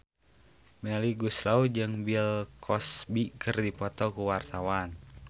Melly Goeslaw jeung Bill Cosby keur dipoto ku wartawan